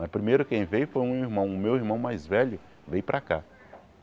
Mas primeiro quem veio foi um irmão, o meu irmão mais velho veio para cá.